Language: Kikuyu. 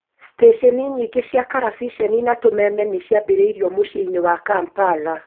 Steceni nyingĩ cia karabiceni na tũmeme nĩciambĩrĩirio mũciĩ-inĩ wa Kampala